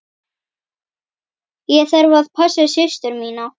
Ég þarf að passa systur mína.